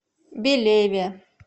белеве